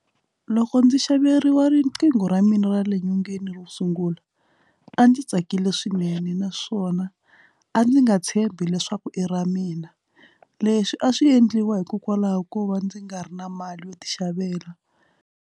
Loko ndzi xaveriwa riqingho ra mina ra le nyongeni ro sungula a ndzi tsakile swinene naswona a ndzi nga tshembi leswaku i ra mina leswi a swi endliwa hikokwalaho ko va ndzi nga ri na mali yo ti xavela.